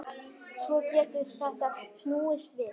Svo getur þetta snúist við.